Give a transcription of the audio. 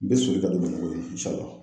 N bi soli ka don bamakɔ